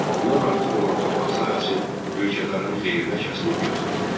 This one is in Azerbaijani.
Bundan artıq olan torpaq sahəsi mülkədarın xeyrinə kəsilib götürülürdü.